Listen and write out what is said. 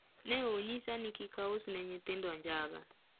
ne onyisa ni kik aus ni nyithindo njaga